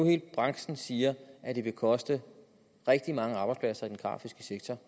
hele branchen siger at det vil koste rigtig mange arbejdspladser i den grafiske sektor